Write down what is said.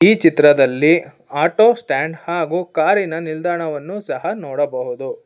ಈ ಚಿತ್ರದಲ್ಲಿ auto stand ಹಾಗು ಕಾರಿನ ನಿಲ್ದಾಣವನ್ನು ಸಹ ನೋಡಬಹುದು.